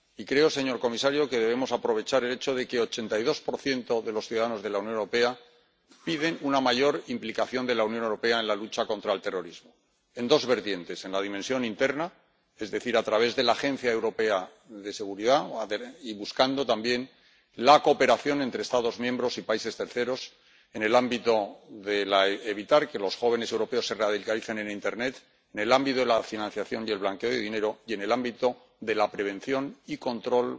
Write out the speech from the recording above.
Y creo, señor comisario, que debemos aprovechar el hecho de que el 82 de los ciudadanos de la Unión Europea pide una mayor implicación de la Unión Europea en la lucha contra el terrorismo en dos vertientes en la dimensión interna, es decir, a través de la Agenda Europea de Seguridad, y buscando, también, la cooperación entre Estados miembros y países terceros en el ámbito de evitar que los jóvenes europeos se radicalicen en internet, en el ámbito de la financiación y el blanqueo de dinero y en el ámbito de la prevención y el control,